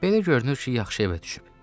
Belə görünür ki, yaxşı evə düşüb.